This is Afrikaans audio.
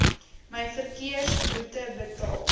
my verkeersboete betaal